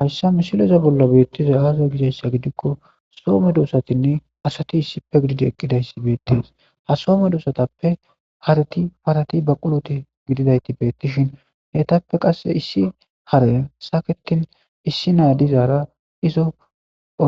hayssa misileza bolla beettizay aaza gizayssa gidikko soo medossatinne asati issippe gididi eqqidayssi beettees ha soo medoosatappe hareti parati baquloti gididayti beettishin eytappe qasse issi harey saketin issi naadizaara izo